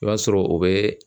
I b'a sɔrɔ o bɛ